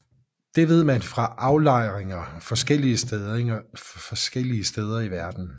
Det ved man fra aflejringer forskellige steder i verden